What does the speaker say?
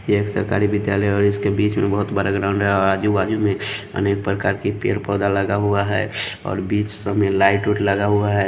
यह एक सरकारी विद्यालय और इसके बीच में बहुत बड़ा ग्राउंड है और आजू-बाजू में अनेक प्रकार के पेड़-पौदा लगा हुआ है और बीच में लाइट ओट लगा हुआ है।